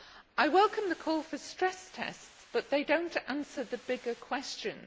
I welcome the call for stress tests but they do not answer the bigger questions.